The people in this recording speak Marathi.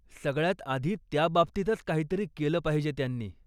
सगळ्यात आधी त्याबाबतीतच काहीतरी केलं पाहिजे त्यांनी.